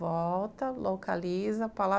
Volta, localiza palavras.